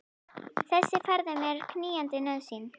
Þessi ferð er mér knýjandi nauðsyn.